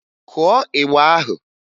Kụọ ịgba ahụ!